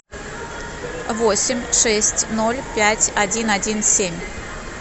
восемь шесть ноль пять один один семь